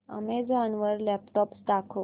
Amazon वर laptops दाखव